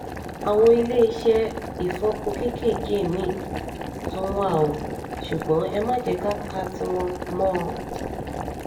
àwọn iléeṣẹ́ ìfọpo kéékèèkéè mì-ín tún wà o ṣùgbọ́n ẹ má jẹ́ ká ka tiwọn mọ́ ọn